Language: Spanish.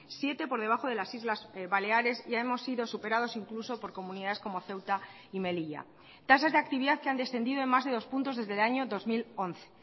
siete por debajo de las islas baleares ya hemos sido superados incluso por comunidades como ceuta y melilla tasas de actividad que han descendido en más de dos puntos desde el año dos mil once